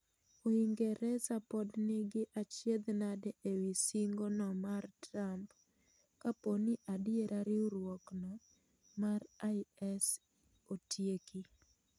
Uingereza pod ni gi achiedh nade ewii singo no mar Trump kapooni adiera riuruok no mar IS otieki.